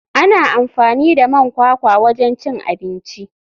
Ana amfani da man kwakwa wajen cin abinci.